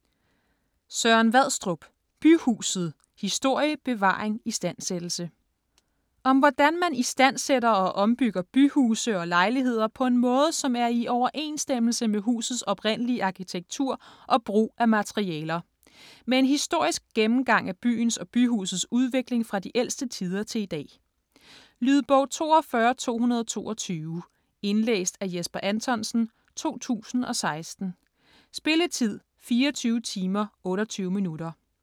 Vadstrup, Søren: Byhuset: historie, bevaring, istandsættelse Om hvordan man istandsætter og ombygger byhuse og lejligheder på en måde, som er i overensstemmelse med husets oprindelige arkitektur og brug af materialer. Med en historisk gennemgang af byens og byhusets udvikling fra de ældste tider til i dag. Lydbog 42222 Indlæst af Jesper Anthonsen, 2016. Spilletid: 24 timer, 28 minutter.